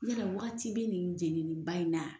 Yala waati bɛ nin jɛnini ba in na.